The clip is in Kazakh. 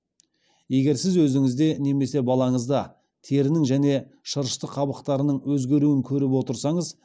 егер сіз өзіңізде немесе балаңызда терінің және шырышты қабаттарының өзгеруін көріп отырсаңыз